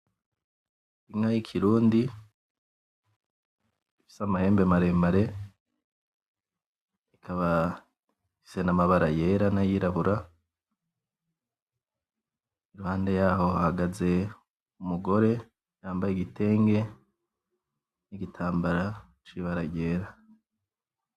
Inka y'ikirundi ifise amahembe maremare, ikaba ifise n'amabara yera n'ayirabura iruhande yaho hahagaze umugore yambaye igitenge n'igitambara cibara ryera.